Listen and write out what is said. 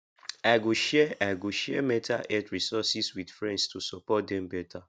i go share i go share mental health resources with friends to support dem better